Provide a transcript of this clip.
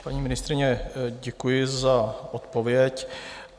Paní ministryně, děkuji za odpověď.